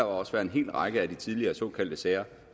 også være en hel række af de tidligere såkaldte sager